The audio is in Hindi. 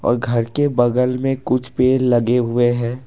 और घर के बगल में कुछ पेड़ लगे हुए हैं।